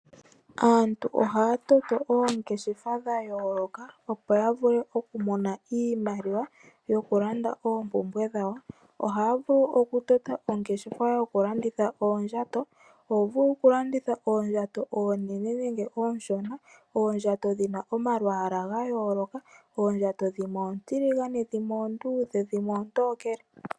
Aantu ohaya toto oongeshefa dha yooloka, opo ya vule oku mona iimaliwa yokulanda oompumbwe dhawo. Ohaya vulu okutota ongeshefa yokulanditha oondjato. Oho vulu okulanditha oondjato oonene nenge oonshona. Oondjato dhi na omalwaala ga yooloka, oondjato dhimwe oontiligane, dhimwe oonduudhe, dhimwe oontokele.